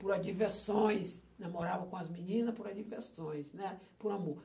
por adversões, namorava com as menina por adversões, né, por amor.